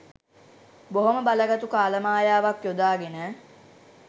බොහොම බලගතු කාල මායාවක් යොදාගෙන